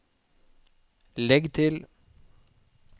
legg til